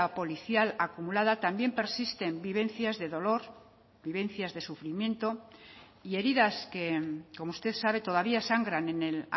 policial acumulada también persisten vivencias de dolor vivencias de sufrimiento y heridas que como usted sabe todavía sangran en el